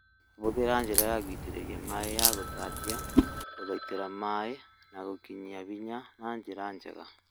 Hũthĩra njĩra ya gũitĩrĩria maĩĩ ya gũtatia gũthaitĩra maĩĩ na gũkinyia hinya na njĩra njega